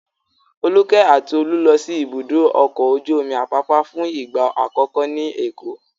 Folúkẹ́ àti Olú lọ sí Ibùdó-ọkọ̀ ojú-omi Àpápá fún ìgbà àkọ́kọ́ ní Èkó.